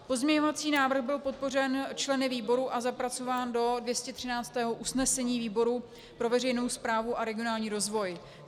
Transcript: Pozměňovací návrh byl podpořen členy výboru a zapracován do 213. usnesení výboru pro veřejnou správu a regionální rozvoj.